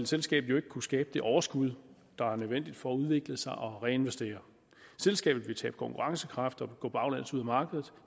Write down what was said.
selskabet jo ikke kunne skabe det overskud der er nødvendigt for udvikle sig og reinvestere selskabet vil tabe konkurrencekraft og gå baglæns ud af markedet